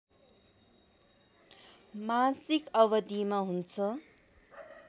मासिक अवधिमा हुन्छ